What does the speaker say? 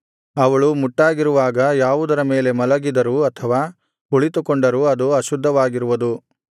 ಅವಳು ಮುಟ್ಟಾಗಿರುವಾಗ ಯಾವುದರ ಮೇಲೆ ಮಲಗಿದರು ಅಥವಾ ಕುಳಿತುಕೊಂಡರು ಅದು ಅಶುದ್ಧವಾಗಿರುವುದು